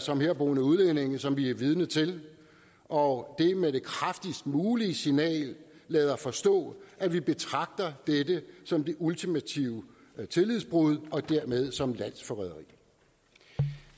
samt herboende udlændinge som vi er vidne til og med det kraftigst mulige signal lader forstå at vi betragter dette som det ultimative tillidsbrud og dermed som landsforræderi